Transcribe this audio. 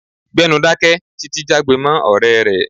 Gbẹ́nu dáké! Títi jágbe mọ́ ọ̀rẹ́ rẹ̀.